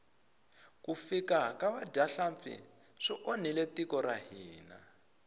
ku fika ka vadyahlampfi swi onhile tiko ra hina